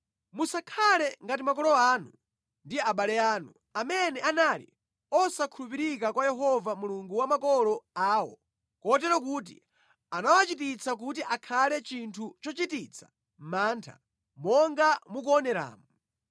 Musakhale ngati makolo anu ndi abale anu, amene anali osakhulupirika kwa Yehova Mulungu wa makolo awo kotero kuti anawachititsa kuti akhale chinthu chochititsa mantha, monga mukuoneramu.